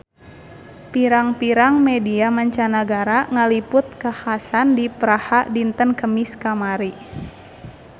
Pirang-pirang media mancanagara ngaliput kakhasan di Praha dinten Kemis kamari